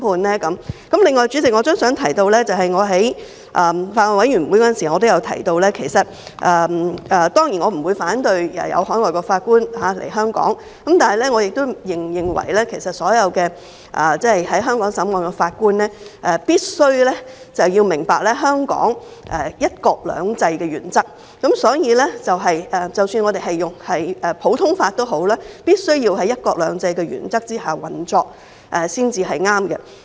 另外，代理主席，我也想提出，正如我曾在法案委員會中提到，當然，我不反對海外法官來香港，但是，我亦認為所有在香港審理案件的法官必須明白香港"一國兩制"的原則，即使我們採用普通法，但亦必須在"一國兩制"的原則下運作才是正確。